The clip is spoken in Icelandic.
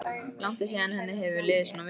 Langt er síðan henni hefur liðið svona vel.